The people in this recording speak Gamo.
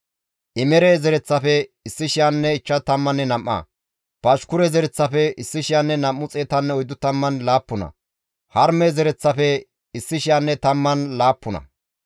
Di7eteththafe simmida mazamure yexxizayti hayssafe kaalli dizayta; Aasaafe zereththatappe 148.